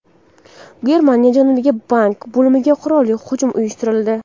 Germaniya janubidagi bank bo‘limiga qurolli hujum uyushtirildi.